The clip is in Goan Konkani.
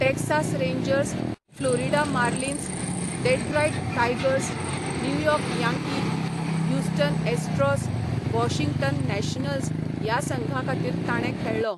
Texas Rangers, Florida Marlins, Detroit Tigers, New York Yankee, Houston Astros, Washington Nationals ह्या संघांखातीर ताणें खेळ्ळो.